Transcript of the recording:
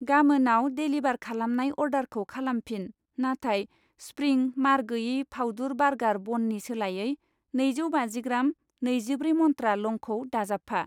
गामोनाव डेलिबार खालामनाय अर्डारखौ खालामफिन नाथाय स्प्रिं मार गैयै फावदुर बार्गार बननि सोलायै नैजौ बाजिग्राम नैजिब्रै मन्त्रा लंखौ दाजाबफा।